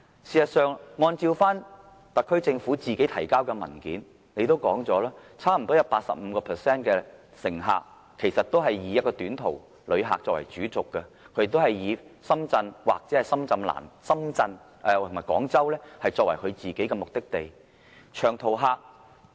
事實上，按照特區政府提交的文件，差不多 85% 的高鐵乘客也以短途旅客作為主軸，以深圳或廣州作為目的地。